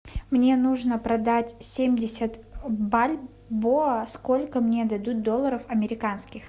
мне нужно продать семьдесят бальбоа сколько мне дадут долларов американских